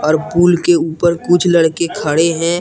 और पुल के ऊपर कुछ लड़के खड़े हैं।